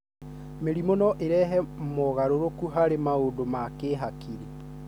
Mĩrimũ no ĩrehe mogarũrũku harĩ maũndũ ma kĩhakiri,